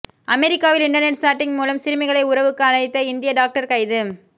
அமெரிக்காவில் internet chatting மூலம் சிறுமிகளை உறவுக்கு அழைத்த இந்திய டாக்டர் கைது